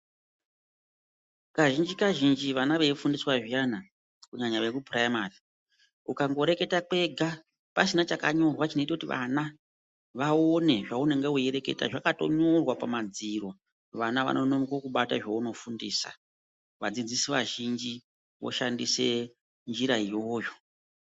Kazhinji kazhinji vana veifundiswa zviyana kunyanya vekuprimary ukangoreketa kwega pasina chakanyorwa chinoita kuti vana vaone zvaunenge weireketa zvakatonyorwa pamadziro vana vanononoka kubata zvaunofundisa vadzidzisi vazhinji voshandise njira iyoyo.